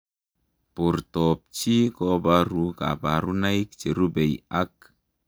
Portoop chitoo kobaruu kabarunaik cherubei ak